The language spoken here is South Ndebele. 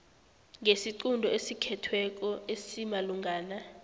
ngesiqunto esithethweko esimalungana